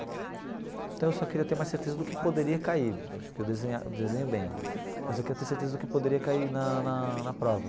Então eu só queria ter mais certeza do que poderia cair, porque desenhar eu desenho bem, mas eu queria ter certeza do que poderia cair na na prova.